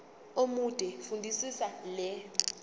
omude fundisisa le